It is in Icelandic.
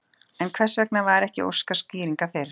En hvers vegna var ekki óskað skýringa fyrr?